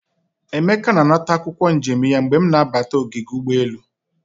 Emeka na anata akwokwo njem ya mgbe m na-abata ogige ugboelu.